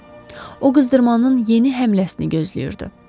O qızdırmanın yeni həmləsini gözləyirdi.